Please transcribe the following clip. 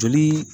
Joli